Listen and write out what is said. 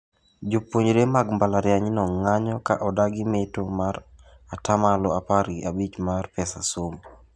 Jopuonjre mag mbalarianyno ng'anyo ka odagi meto mar ata malo apar gi abich mar pesa somo.